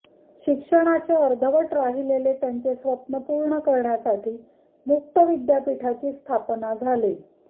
शिक्षणाचे अर्धवट राहिलेले त्यांचे स्वप्न पूर्ण करण्यासाठी मुक्त विद्यापीठाची स्थापना झाली